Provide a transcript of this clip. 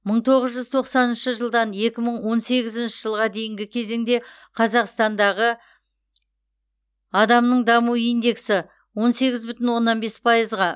мың тоғыз жүз тоқсаныншы жылдан екі мың он сегізінші жылға дейінгі кезеңде қазақстандағы адамның даму индескі он сегіз бүтін оннан бес пайызға